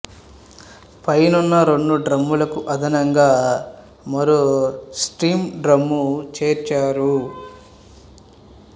పైనున్న రెండు డ్రమ్ములకు అదనంగా మరో స్టీము డ్రమ్ము చేర్చారు